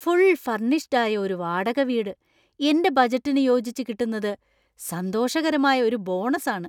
Full furnished ആയ ഒരു വാടക വീട് എന്റെ ബജറ്റിനു യോജിച്ച് കിട്ടുന്നത് സന്തോഷകരമായ ഒരു ബോണസാണ്.